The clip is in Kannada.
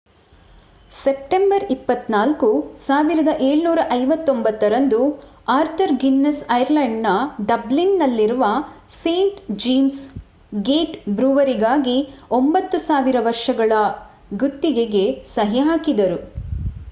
ಸೆಪ್ಟೆಂಬರ್ 24 1759 ರಂದು ಆರ್ಥರ್ ಗಿನ್ನೆಸ್ ಐರ್ಲೆಂಡ್‌ನ ಡಬ್ಲಿನ್‌ನಲ್ಲಿರುವ ಸೇಂಟ್ ಜೇಮ್ಸ್ ಗೇಟ್ ಬ್ರೂವರಿಗಾಗಿ 9,000 ವರ್ಷಗಳ ಗುತ್ತಿಗೆಗೆ ಸಹಿ ಹಾಕಿದರು